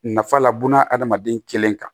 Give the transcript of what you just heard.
Nafa la buna adamaden kelen kan